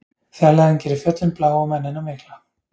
Fjarlægðin gerir fjöllin blá og mennina mikla.